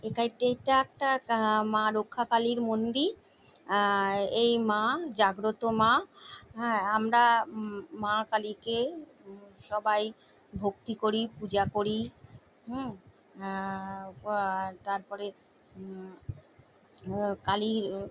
এটা একটি এটা একটা আহ মা রক্ষাকালীর মন্দির আহ এই মা জাগ্রত মা হ্যা আমরা মা কালীকে সবাই ভক্তি করি পূজা করি উম আহ আহ তারপরে উম কালীর--